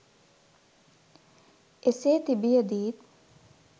එසේ තිබියදීත්